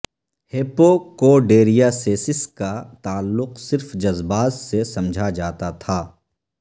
ہپوکوڈیریایسس کا تعلق صرف جذبات سے سمجھا جاتا تھا